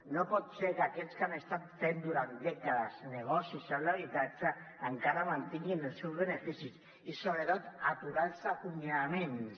no pot ser que aquells que han estat fent durant dècades negocis amb l’habitatge encara mantinguin els seus beneficis i sobretot aturar els acomiadaments